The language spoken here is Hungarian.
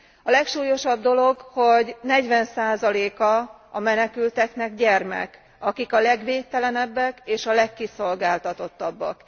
A legsúlyosabb dolog, hogy 40 a a menekülteknek gyermek, akik a legvédtelenebbek, és a legkiszolgáltatottabbak.